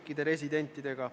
Palun siiski avage seda.